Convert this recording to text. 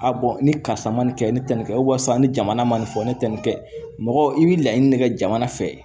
A ni karisa ma nin kɛ ni tɛ nin kɛ ni jamana ma nin fɔ ne te nin kɛ mɔgɔ i be laɲini ne kɛ jamana fɛ